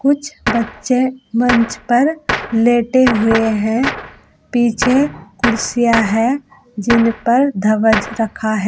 कुछ बच्चे मंच पर लेटे हुए हैं। पीछे कुर्सियां हैं जिन पर धवज रखा है।